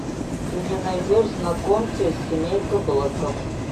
ты мне найдешь знакомьтесь семейка блэков